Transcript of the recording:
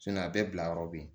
a bɛɛ bila yɔrɔ be yen